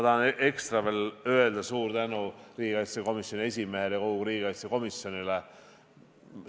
Ekstra suure tänu tahan öelda riigikaitsekomisjoni esimehele ja kogu riigikaitsekomisjonile.